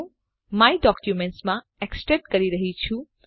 હું my documents માં extract કરી રહ્યી છું